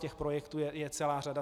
Těch projektů je celá řada.